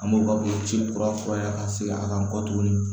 An b'o ka boloci kura furan ka segi a kan kɔ tuguni